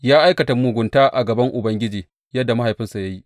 Ya aikata mugunta a gaban Ubangiji yadda mahaifinsa ya yi.